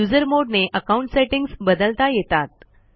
usermod ने account settings बदलता येतात